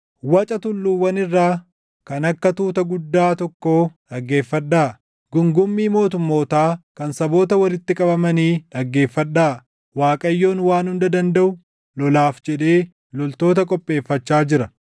Waca tulluuwwan irraa, kan akka tuuta guddaa tokkoo dhaggeeffadhaa! Guungummii mootummootaa kan saboota walitti qabamanii dhaggeeffadhaa! Waaqayyoon Waan Hunda Dandaʼu lolaaf jedhee loltoota qopheeffachaa jira!